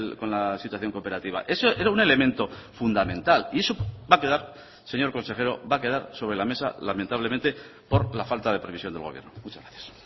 con la situación cooperativa eso era un elemento fundamental y eso va a quedar señor consejero va a quedar sobre la mesa lamentablemente por la falta de previsión del gobierno muchas gracias